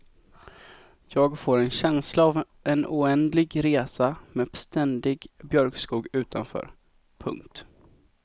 Jag får en känsla av en oändlig resa med ständig björkskog utanför. punkt